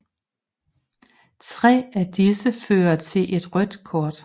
Tre af disse fører til et rødt kort